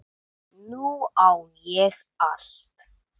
Nú á ég allt.